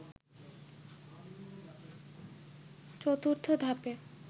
চতুর্থ ধাপে